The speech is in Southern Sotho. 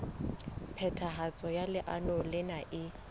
phethahatso ya leano lena e